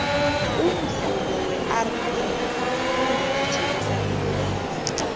umvumo werb ungijimisa igazi